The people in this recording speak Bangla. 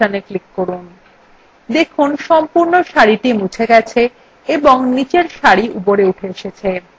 দেখুন সম্পূর্ণ সারি মুছে গেছে এবংনিচের সারি উপরে উঠে এসেছে